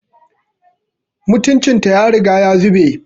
Mutuncin ta ya riga ya zube